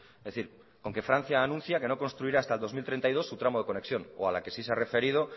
es decir con que francia anuncia que no construirá hasta el dos mil treinta y dos su tramo de conexión o a la que sí se ha referido